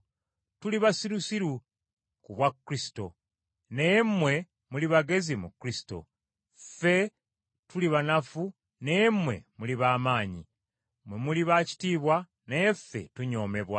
Tuli basirusiru ku bwa Kristo, naye mmwe muli bagezi mu Kristo; Ffe tuli banafu naye mmwe muli ba maanyi! Mmwe muli ba kitiibwa naye ffe tunyoomebwa.